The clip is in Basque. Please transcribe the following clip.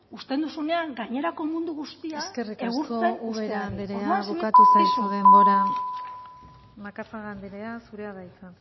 uzten duzunean gainerako mundu guztia egurtzen uzteari eskerrik asko ubera anderea bukatu zaizu denbora macazaga anderea zurea da hitza